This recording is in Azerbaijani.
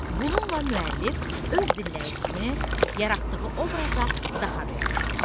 Bununla müəllif öz dinləyicisini yaratdığı obraza daha da yaxınlaşdırır.